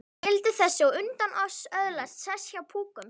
Skyldi þessi á undan oss öðlast sess hjá púkunum?